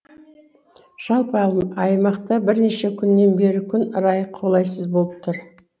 жалпы аймақта бірнеше күннен бері күн райы қолайсыз болып тұр